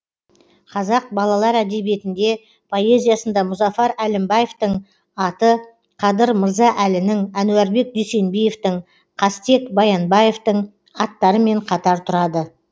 қазақ балалар әдебиетінде поэзиясында мұзафар әлімбаевтың аты қадыр мырза әлінің әнуарбек дүйсенбиевтің қастек баянабевтың аттарымен қатар тұрады